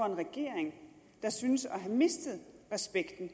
en regering der synes at have mistet respekten